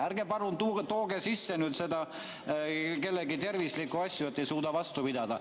Ärge palun tooge sisse kellegi tervisliku asju, et ei suuda vastu pidada.